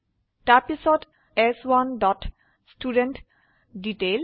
তাৰপিছত চ1 dot student detail